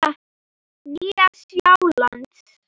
Nýja Sjáland